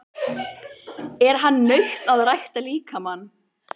Er nautn að rækta líkamann?